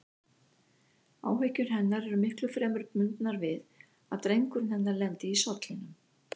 Áhyggjur hennar eru miklu fremur bundnar við að drengurinn hennar lendi í sollinum.